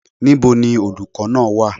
Níbo ni olùkọ́ náà wà?